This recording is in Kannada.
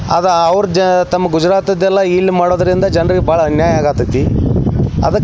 ಅದ ಅವ್ರು ತಮ್ಮ ಗುಜರಾತಿದೆಲ್ಲ ಇಲ್ ಮಾಡೋದ್ರಿಂದ ಜನರಿಗೆ ಬಹಳ ಅನ್ಯಾಯ ಅಗೇತೈತಿ ಅದಕ್ಕ --